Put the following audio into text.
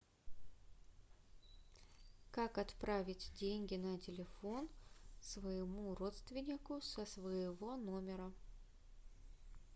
как отправить деньги на телефон своему родственнику со своего номера